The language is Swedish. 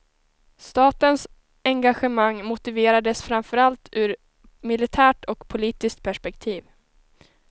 Statens engagemang motiverades framförallt ur militärt och politiskt perspektiv.